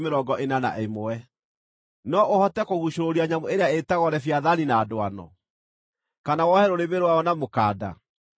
“No ũhote kũguucũrũria nyamũ ĩrĩa ĩĩtagwo Leviathani na ndwano, kana wohe rũrĩmĩ rwayo na mũkanda?